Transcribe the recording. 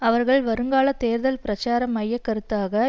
அவர்கள் வருங்கால தேர்தல் பிரச்சார மைய கருத்தாக